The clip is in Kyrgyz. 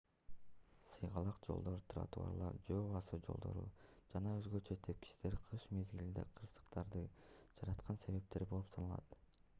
сыйгалак жолдор тротуарлар жөө басуу жолдору жана өзгөчө тепкичтер кыш мезгилинде кырсыктарды жараткан себептер болуп саналат